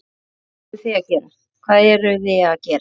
Hvað eruði að gera?